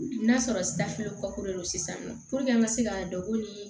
N'a sɔrɔ safoko don sisan nɔ an ka se ka dɔn ko ni